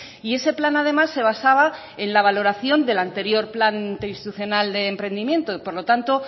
y ese plan además se basaba en la valoración del anterior plan interinstitucional de emprendimiento y por lo tanto